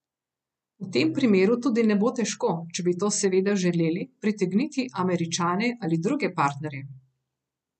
V tem primeru tudi ne bo težko, če bi to seveda želeli, pritegniti Američane ali druge partnerje.